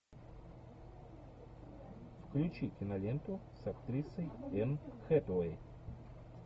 включи киноленту с актрисой энн хэтэуэй